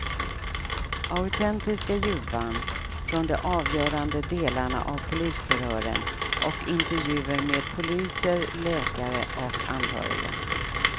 Autentiska ljudband från de avgörande delarna av polisförhören och intervjuer med poliser, läkare och anhöriga.